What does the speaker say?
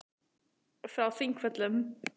Frá Þingvöllum.